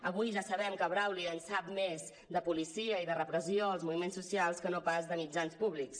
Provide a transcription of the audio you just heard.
avui ja sabem que brauli en sap més de policia i de repressió als moviments socials que no pas de mitjans públics